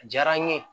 A diyara n ye